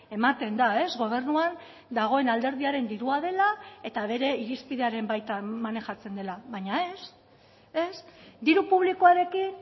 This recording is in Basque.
ematen da gobernuan dagoen alderdiaren dirua dela eta bere irizpidearen baitan manejatzen dela baina ez ez diru publikoarekin